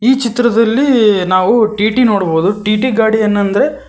ಈ ಚಿತ್ರದಲ್ಲಿ ನಾವು ಟಿ_ಟಿ ನೋಡಬೊದು ಟಿ_ಟಿ ಗಾಡಿ ಏನಂದ್ರೆ--